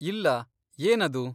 ಇಲ್ಲ, ಏನದು?